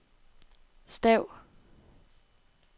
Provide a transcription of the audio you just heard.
stav